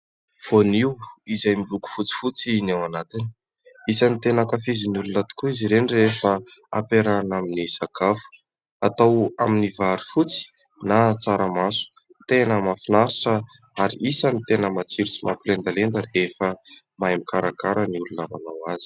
Vonaio izay miloko fotsifotsy ny ao anatiny. Isany tena ankafizin' ny olona tokoa izy ireny rehefa ampiarahana amin'ny sakafo, atao amin'ny vary fotsy na tsaramaso. Tena mahafinaritra, ary isany tena matsiro sy mampilendalenda rehefa mahay mikarakara ny olona nanao azy.